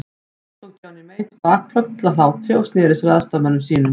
Nú tók Johnny Mate bakföll af hlátri og sneri sér að aðstoðarmönnum sínum.